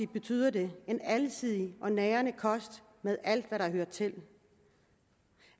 betyder det en alsidig og nærende kost med alt hvad der hører til